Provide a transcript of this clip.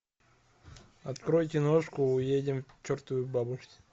открой киношку уедем к чертовой бабушке